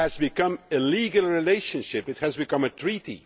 It has become a legal relationship it has become a treaty.